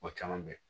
Mɔgɔ caman bɛ ye